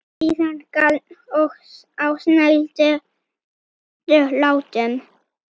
Síðan garn á snældu látum.